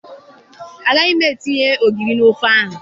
Agaghị m etinye ogiri n'ofe ahụ